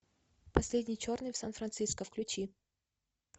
последний черный в сан франциско включи